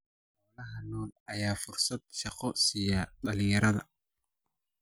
Xoolaha nool ayaa fursad shaqo siiya dhalinyarada.